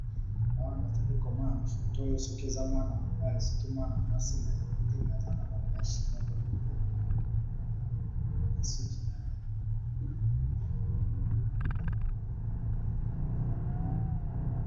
Awa nazali komona na photo oyo soki eza mwana mobali soki eza mwana mwasi nayebite mais aza naba meche moko boye nasuki naye